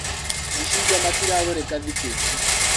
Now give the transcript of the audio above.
Macungwa matiragũrĩka thikũ ici.